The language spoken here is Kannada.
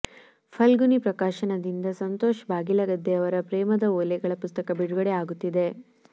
ಫಲ್ಗುಣಿ ಪ್ರಕಾಶನದಿಂದ ಸಂತೋಷ್ ಬಾಗಿಲಗದ್ದೆಯವರ ಪ್ರೇಮದ ಓಲೆಗಳ ಪುಸ್ತಕ ಬಿಡುಗಡೆ ಆಗುತ್ತಿದೆ